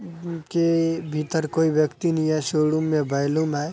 उनके भीतर कोई व्यक्ति नहीं है। सोड़ुम में बैलूम है।